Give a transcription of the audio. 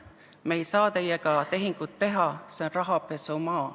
Me ei saa teiega tehingut teha, see on rahapesumaa.